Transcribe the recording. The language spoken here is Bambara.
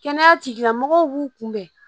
Kɛnɛya tigilamɔgɔw b'u kunbɛn